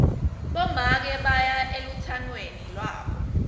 bomake baya elutsangweni lwabo